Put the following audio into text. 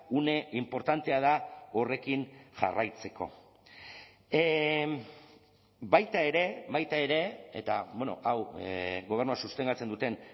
une inportantea da horrekin jarraitzeko baita ere baita ere eta hau gobernua sostengatzen duten